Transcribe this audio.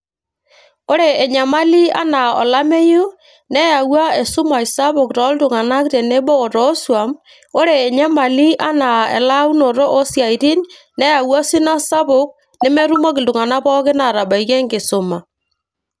ore enyamali enaa olameyu neyawua esumash sapuk toltung'anak o tenebo o toosuam ore enyamali anaa elaunoto oosiaitin neyawua osina sapuk nemetumoki iltung'anak pookin atabaiki enkisuma.